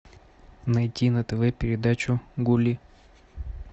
найти на тв передачу гулли